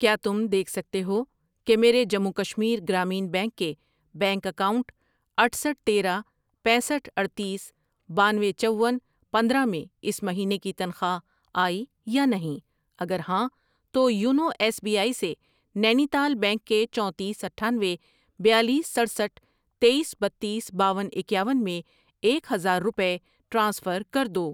کیا تم دیکھ سکتے ہو کہ میرے جموں و کشمیر گرامین بینک کے بینک اکاؤنٹ اٹھسٹھ ،تیرہ ،پینسٹھ ،اڈتیس، بانوے، چون، پندرہ میں اس مہینے کی تنخواہ آئی یا نہیں؟ اگر ہاں تو یونو ایس بی آئی سے نینی تال بینک کے چونتیس، اٹھانوے، بیالیس، سٹرسٹھ ،تییس، بتیس، باون، اکیاون میں ایک ہزار روپے ٹرانسفر کر دو۔